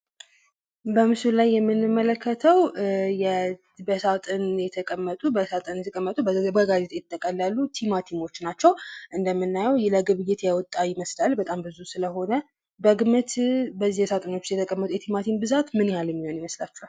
በምስሉ ላይ የምንመለከተው በሳጥን የተቀመጡ በሳጥን የተቀመጡ በሳጥን የተጠቀለሉ ቲማቲሞች ናችው። እንደምናየው ለግብይት የወጣ ይመስላል። በጣም ብዙ ስለሆነ። በግምት በዚህ የሳጥን ዉስጥ የተቀመጠ ታማቲም ብዛት ምን ያህል የሚሆን ይመስላችኋል?